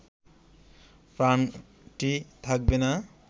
প্রাণটি থাকবে না।